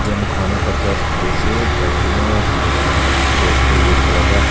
ekta church dikhi ase church toh eman sundur banaina etu cross tu red color pra--